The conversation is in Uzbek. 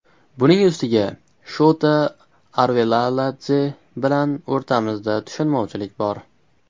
Buning ustiga Shota Arvelaladze bilan o‘rtamizda tushunmovchilik bor.